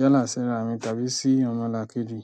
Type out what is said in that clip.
yálà síra mi tàbí sí ọmọlàkejì.